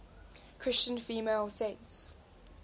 christian female saints